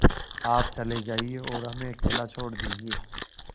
आप चले जाइए और हमें अकेला छोड़ दीजिए